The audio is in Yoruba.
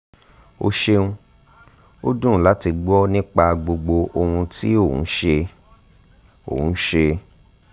o ṣeun o dun lati gbọ nipa gbogbo ohun ti o n ṣe o n ṣe